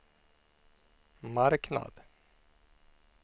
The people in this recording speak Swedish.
marknad